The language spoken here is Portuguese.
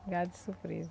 Pegada de surpresa.